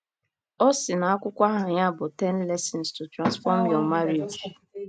O si n’akwụkwọ aha ya bụ Ten Lessons to Transform Your Marriage.